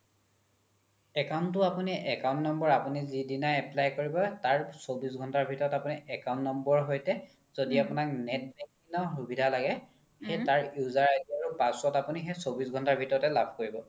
account তো আপোনি account number আপোনি যিদিনাই apply কৰিব তাৰ চৌবিশ ঘণ্টাৰ ভিতৰত আপোনি account number সৈতে য্দি আপোনাক net banking ৰ সুবিধা লাগে সেই তাৰ user ID আৰু password আপোনি সেই চৌবিশ ঘণ্টাৰ ভিতৰতে লাভ কৰিব